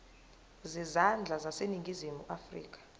zezandla zaseningizimu afrika